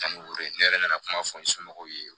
Ani ore ne yɛrɛ nana kuma fɔ n somɔgɔw ye